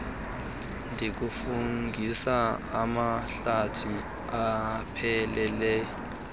ndikufungise amahlathi ephelele